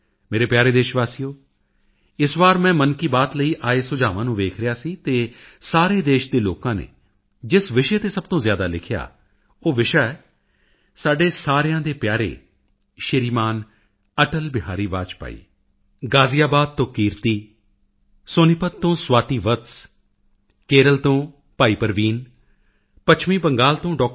ਮੇਰੇ ਪਿਆਰੇ ਦੇਸ਼ ਵਾਸੀਓ ਇਸ ਵਾਰ ਮੈਂ ਮਨ ਕੀ ਬਾਤ ਲਈ ਆਏ ਸੁਝਾਵਾਂ ਨੂੰ ਦੇਖ ਰਿਹਾ ਸੀ ਤਾਂ ਸਾਰੇ ਦੇਸ਼ ਦੇ ਲੋਕਾਂ ਨੇ ਜਿਸ ਵਿਸ਼ੇ ਤੇ ਸਭ ਤੋਂ ਜ਼ਿਆਦਾ ਲਿਖਿਆ ਉਹ ਵਿਸ਼ਾ ਹੈ ਸਾਡੇ ਸਾਰਿਆਂ ਦੇ ਪਿਆਰੇ ਸ਼੍ਰੀ ਮਾਨ ਅਟਲ ਬਿਹਾਰੀ ਵਾਜਪੇਈ ਗਾਜ਼ੀਆਬਾਦ ਤੋਂ ਕੀਰਤੀ ਸੋਨੀਪਤ ਤੋਂ ਸਵਾਤੀ ਵੱਤਸ ਕੇਰਲ ਤੋਂ ਭਾਈ ਪਰਵੀਨ ਪੱਛਮੀ ਬੰਗਾਲ ਤੋਂ ਡਾ